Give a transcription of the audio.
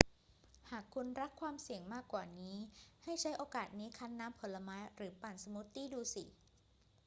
หากคุณรักความเสี่ยงมากกว่านี้ ให้ใช้โอกาสนี้คั้นน้ำผลไม้หรือปั่นสมูทตี้ดูสิ